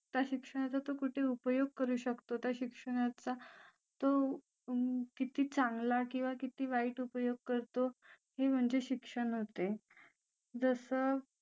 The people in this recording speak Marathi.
त्या शिक्षणाचा तो कुठे उपयोग करू शकतो त्या शिक्षणाचा तो किती चांगला किंवा किती वाईट उपयोग करतो हे म्हणजे शिक्षण होते जसं